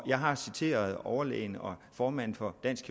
jeg har citeret overlægen og formanden for dansk